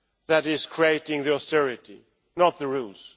that is creating the austerity, not the rules.